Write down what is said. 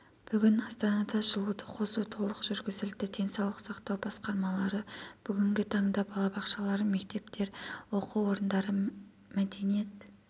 бүгін астанада жылуды қосу толық жүргізілді денсаулық сақтау басқармалары бүгінгі таңда балабақшалар мектептер оқу орындары мәдениет